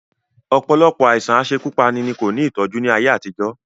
Ọ̀pọ̀lọpọ̀ àìsàn asekúpani ni kò ní ìtọ́jú ni ayé àtijọ́